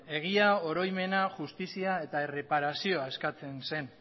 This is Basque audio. egia oroimena justizia eta erreparazioa eskatzen zen